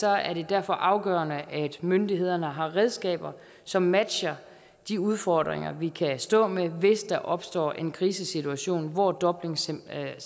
er det derfor afgørende at myndighederne har redskaber som matcher de udfordringer vi kan stå med hvis der opstår en krisesituation hvor dublinsamarbejdet